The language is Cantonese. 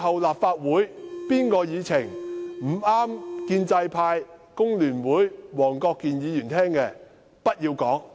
立法會以後凡有建制派、工聯會和黃國健議員不中聽的言論，均不要講。